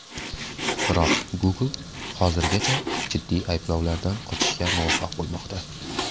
Biroq Google hozirgacha jiddiy ayblovlardan qochishga muvaffaq bo‘lmoqda.